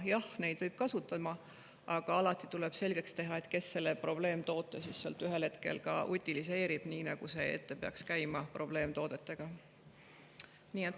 Jah, neid võib kasutada, aga alati tuleb selgeks teha, kes selle probleemtoote siis ühel hetkel utiliseerib, nii nagu see peaks probleemtoodetega käima.